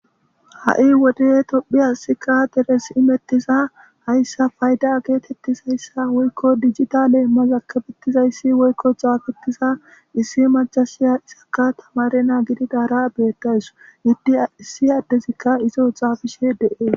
ha7i wode tophiyassika deres imettiza hayssa fayda geetettizayssa woykko dijita leemmaz akabettizayssi woykko xaafetiza issi macasiya isakka tamare naa gididaara beettaysu iddi issi addezikka izo xaafishe de'e